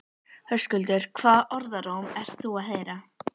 Höskuldur: Hvaða orðróm ert þú að heyra?